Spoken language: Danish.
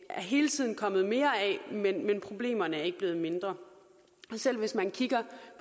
hele tiden kommet mere af men problemerne er ikke blevet mindre selv hvis man kigger